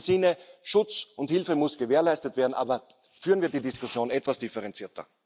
In diesem Sinne Schutz und Hilfe müssen gewährleistet werden, aber führen wir die Diskussion etwas differenzierter!